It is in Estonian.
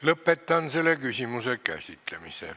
Lõpetan selle küsimuse käsitlemise.